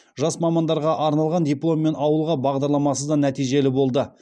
жас мамандарға арналған дипломмен ауылға бағдарламасы да нәтижелі болды